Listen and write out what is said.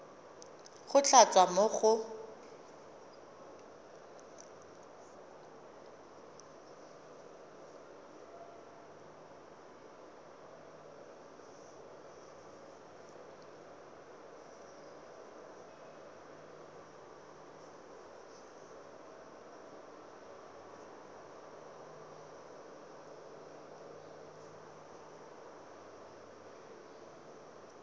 go tla tswa mo go